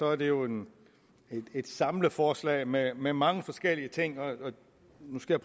er det jo et samleforslag med med mange forskellige ting og nu skal